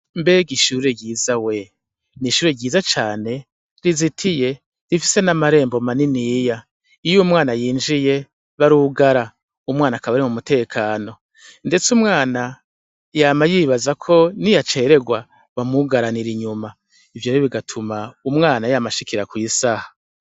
Mbega ishure ryiza we! ni ishure ryiza cane rizitiye rifise n'amarembo maniniya. Iyo umwana yinjiye barugara umwana akaba ari mu mutekano. Ndetse umwana yama yibaza ko niyaceregwa bamwugaranira inyuma. Ivyo bigatuma umwana yama ashikira kwisaha.